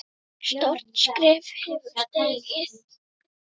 Stórt skref hafði verið stigið.